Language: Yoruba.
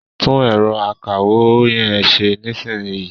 Tún ẹ̀rọ akawó yẹn ṣe nísìnyìí.